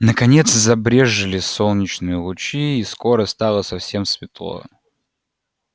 наконец забрезжили солнечные лучи и скоро стало совсем светло